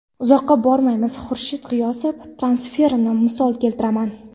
Uzoqqa bormaymiz, Xurshid G‘iyosov transferini misol keltiraman.